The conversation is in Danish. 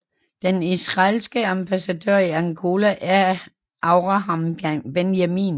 Den israelske ambassadør i Angola er Avraham Benjamin